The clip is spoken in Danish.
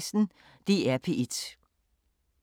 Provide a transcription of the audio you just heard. DR P1